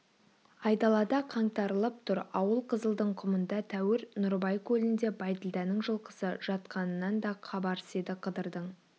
айдалада қаңтарылып тұр ауыл қызылдың құмында тәуір нұрыбай көлінде бәйділданың жылқысы жатқанынан да хабарсыз еді қыдырдың